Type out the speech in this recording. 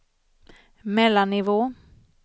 mellannivå